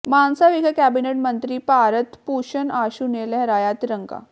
ਮਾਨਸਾ ਵਿਖੇ ਕੈਬਨਿਟ ਮੰਤਰੀ ਭਾਰਤ ਭੂਸ਼ਣ ਆਸ਼ੂ ਨੇ ਲਹਿਰਾਇਆ ਤਿਰੰਗਾ